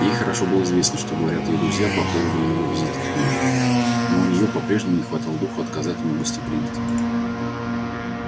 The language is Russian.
ей хорошо было известно что говорят её друзья по поводу его визитов к ней но у неё по-прежнему не хватало духу отказать ему в гостеприимстве